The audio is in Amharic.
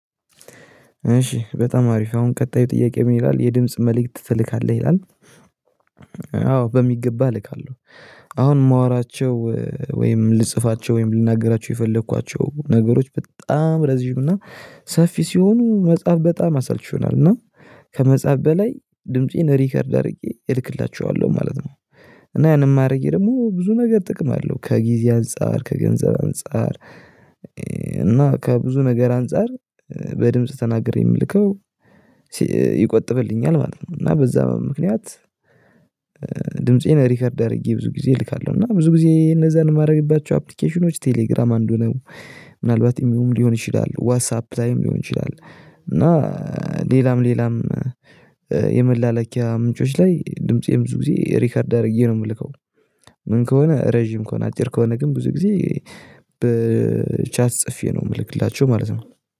እሺ በጣም አሪፍ አሁን ቀጣዩ ጥያቄ ምን ይላል የድምጽ መልእክት ትልካለህ ይላል? አዎ በሚገባ ልካለሁ አሁን የማወራቸው ወይም ልጽፋቸው ወይም ልናገራቸው የፈለኳቸው ነገሮች በጣም ረዥም እና ሰፊ ሲሆኑ መጽሐፍ በጣም አሰልቺ እና ከመጽሐፍ በላይ ድምፄን ሪከርድ አድርጌ እልክላችኋለሁ ማለት ነው። እና ያንን ማረጌ ደግሞ ብዙ ነገር ጥቅም አለው ከጊዜ አንፃር ከገንዘብ አንፃር እና ከብዙ ነገር አንፃር በድምጽ ተናገሬ የምልከው ይቆጥብልኛል ማለት ነው። እና በዛ ምክንያት ድምፄን ሪከርድ አድርጌ ብዙ ጊዜ እልካለሁ እና ብዙ ጊዜ እነዛን የማደርግባቸው አፕሊኬሽኖች ቴሌግራም አንዱ ነው። ምናልባት ኢሞም ሊሆን ይችላል ዋትሳፕ ላይም ሊሆን ይችላል። እና ሌላም ሌላም የመላለኪያ ምንጮች ላይ ድምፄ ብዙ ጊዜ ሪከርድ አድርጌ ነው የምልከው። ምን ከሆነ ረጅም ከሆነ አጭር ከሆነ ግን ብዙ ጊዜ ብቻ ጽፌ ነው የምልክላቸው ማለት ነው